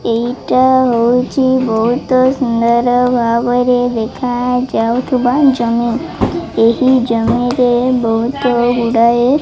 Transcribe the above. ଏଇଟା ହୋଇଛି ବହୁତ ସୁନ୍ଦର ଭାବ ରେ ଦେଖା ଯାଉଥିବା ଜମି ଏହି ଜମି ରେ ବହୁତ ଗୁଡ଼ାଏ --